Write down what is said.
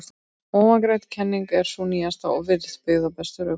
Ofangreind kenning er sú nýjasta og virðist byggð á bestum rökum.